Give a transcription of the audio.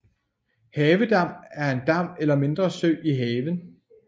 Havedam er en dam eller mindre sø i haven